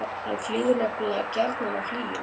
hann flýgur nefnilega gjarnan á hlýjum